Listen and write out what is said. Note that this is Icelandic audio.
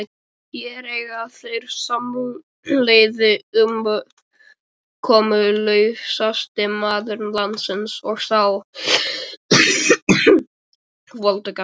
Hér eiga þeir samleið, umkomulausasti maður landsins og sá voldugasti.